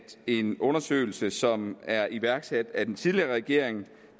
en undersøgelse som er iværksat af den tidligere regering